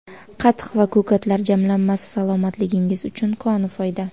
Qatiq va ko‘katlar jamlanmasi salomatligingiz uchun koni foyda.